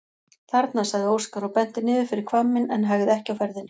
Þarna, sagði Óskar og benti niður fyrir hvamminn en hægði ekki á ferðinni.